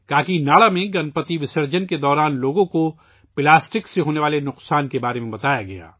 کاکی ناڈا میں گنپتی وسرجن کے دوران لوگوں کو پلاسٹک سے ہونے والے نقصانات کے بارے میں بتایا گیا